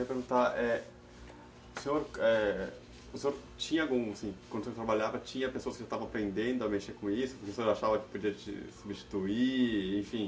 Eu queria perguntar, é, o senhor, é, tinha algum, assim, quando você trabalhava, tinha pessoas que já estavam apreendendo a mexer com isso, que o senhor achava que podia substituir, enfim?